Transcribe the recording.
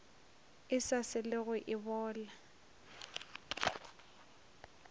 e sa selego e bola